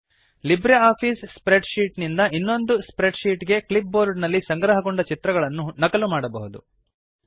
LibreOffice spreadsheet ನಿಂದ ಇನ್ನೊಂದು spreadsheet ಗೆ ಕ್ಲಿಪ್ ಬೋರ್ಡ್ ನಲ್ಲಿ ಸಂಗ್ರಹಗೊಂಡ ಚಿತ್ರಗಳನ್ನು ನಕಲು ಮಾಡಬಹುದು